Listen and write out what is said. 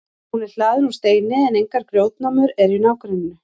hún er hlaðin úr steini en engar grjótnámur eru í nágrenninu